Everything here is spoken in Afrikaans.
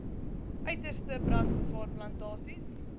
uiterste brandgevaar plantasies